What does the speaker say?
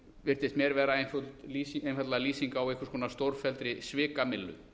virtist mér vera einfaldlega lýsing á einhvers konar stórfelldri svikamyllu